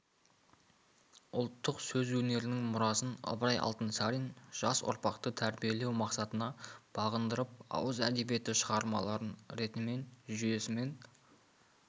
ұлттық сөз өнерінің мұрасын ыбырай алтынсарин жас ұрпақты тәрбиелеу мақсатына бағындырып ауыз әдебиеті шығармаларын ретімен жүйесімен